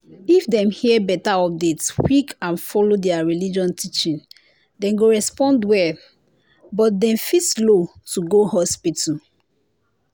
if dem hear better update quick and follow their religion teaching dem go respond well but dem fit slow to go hospital.